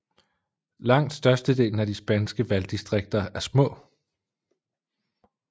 Langt størstedelen af de spanske valgdistriker er små